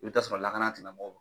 I bɛ taa sɔrɔ lakana tigilamɔw